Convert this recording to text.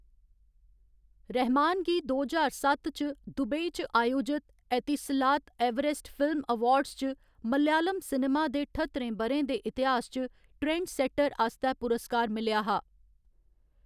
रहमान गी दो ज्हार सत्त च दुबई च आयोजत एतिसलात एवरेस्ट फिल्म अवार्ड्स च मलयालम सिनेमा दे ठत्तरें ब'रें दे इतिहास च ट्रेंडसैट्टर आस्तै पुरस्कार मिलेआ हा।